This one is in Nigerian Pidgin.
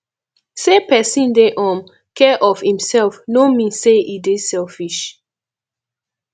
sey pesin dey um care of imsef no mean sey e dey selfish